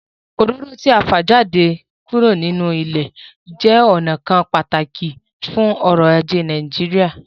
Òróró tí à ń fa jáde nínú ilẹ̀ jẹ́ ọnà kan pàtàkì fún ọ̀rọ̀ ajé Nàìjíríà